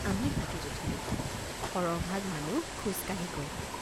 আমি হাতীত উঠিলোঁ সৰহভাগ মানুহ খোজকাঢ়ি গল।